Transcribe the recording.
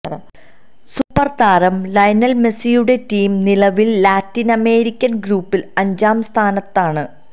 സൂപ്പര്താരം Lionel മെസ്സിയുടെ team നിലവില് Latin American ഗ്രൂപ്പില് അഞ്ചാം സ്ഥാനത്താണ്